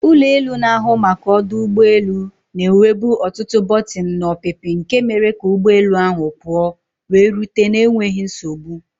ụlọ elu na-ahụ maka ọdụ ụgbọ elu na-enwebu ọtụtụ bọtịnụ na ọpịpị nke mere ka ụgbọ elu ahụ pụọ wee rute na enweghị nsogbu